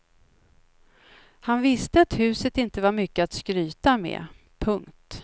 Han visste att huset inte var mycket att skryta med. punkt